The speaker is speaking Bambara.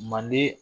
Manden